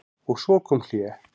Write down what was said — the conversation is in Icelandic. Og svo kom hlé.